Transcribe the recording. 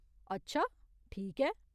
अच्छा ! ठीक ऐ।